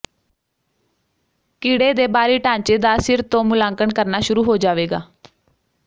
ਕੀੜੇ ਦੇ ਬਾਹਰੀ ਢਾਂਚੇ ਦਾ ਸਿਰ ਤੋਂ ਮੁਲਾਂਕਣ ਕਰਨਾ ਸ਼ੁਰੂ ਹੋ ਜਾਵੇਗਾ